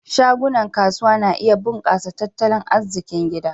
Shagunan kasuwa na iya bunkasa tat talon arzikin gida.